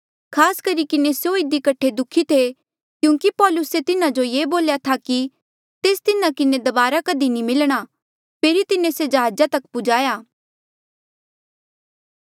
खास करी किन्हें स्यों इधी कठे दुखी थे क्यूंकि पौलुसे तिन्हें जो ये बोल्या था कि तेस तिन्हा किन्हें दबारा कधी नी मिलणा फेरी तिन्हें से जहाजा तक पुजाया